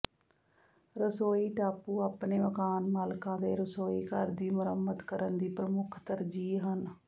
ਰਸੋਈ ਟਾਪੂ ਆਪਣੇ ਮਕਾਨ ਮਾਲਕਾਂ ਦੇ ਰਸੋਈ ਘਰ ਦੀ ਮੁਰੰਮਤ ਕਰਨ ਦੀ ਪ੍ਰਮੁੱਖ ਤਰਜੀਹ ਹਨ